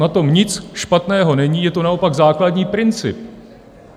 Na tom nic špatného není, je to naopak základní princip.